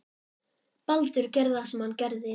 Baldur gerði það sem hann gerði.